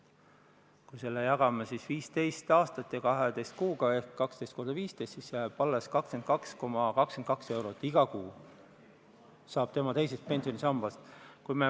Kui me jagame selle summa 15 aastaga ja veel 12 kuuga ehk 12 × 15, siis jääb alles 22,22 eurot, mis iga kuu saab tema teisest pensionisambast.